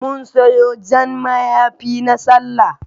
Mun siyo Jan mayafi na Sallah